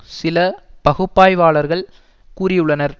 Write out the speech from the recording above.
சில பகுப்பாய்வாளர்கள் கூறியுள்ளனர்